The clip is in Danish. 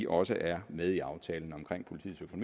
også er med i aftalen om politiets